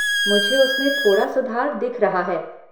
मुझे उसमें थोड़ा सुधार दिख रहा है।